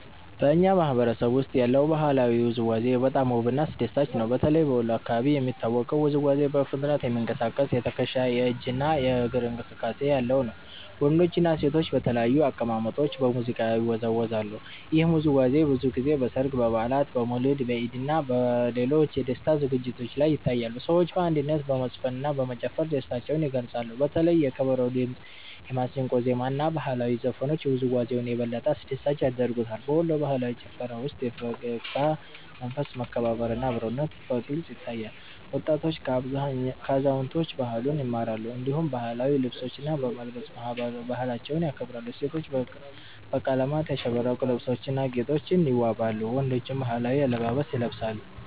በእኛ ማህበረሰብ ውስጥ ያለው ባህላዊ ውዝዋዜ በጣም ውብና አስደሳች ነው። በተለይ በወሎ አካባቢ የሚታወቀው ውዝዋዜ በፍጥነት የሚንቀሳቀስ የትከሻ፣ የእጅ እና የእግር እንቅስቃሴ ያለው ነው። ወንዶችና ሴቶች በተለያዩ አቀማመጦች በሙዚቃ ላይ ይወዛወዛሉ። ይህ ውዝዋዜ ብዙ ጊዜ በሠርግ፣ በበዓላት፣ በመውሊድ፣ በኢድ እና በሌሎች የደስታ ዝግጅቶች ላይ ይታያል። ሰዎች በአንድነት በመዝፈንና በመጨፈር ደስታቸውን ይገልጻሉ። በተለይ የከበሮ ድምጽ፣ የማሲንቆ ዜማ እና ባህላዊ ዘፈኖች ውዝዋዜውን የበለጠ አስደሳች ያደርጉታል። በወሎ ባህላዊ ጭፈራ ውስጥ የፈገግታ መንፈስ፣ መከባበር እና አብሮነት በግልጽ ይታያል። ወጣቶች ከአዛውንቶች ባህሉን ይማራሉ፣ እንዲሁም ባህላዊ ልብሶችን በመልበስ ባህላቸውን ያከብራሉ። ሴቶች በቀለማት ያሸበረቁ ልብሶችና ጌጦች ይዋበዋሉ፣ ወንዶችም ባህላዊ አለባበስ ይለብሳሉ።